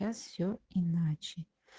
сейчас все иначе